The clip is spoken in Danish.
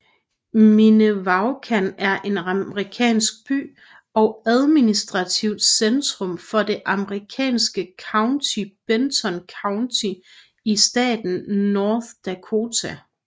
Minnewaukan er en amerikansk by og administrativt centrum for det amerikanske county Benton County i staten North Dakota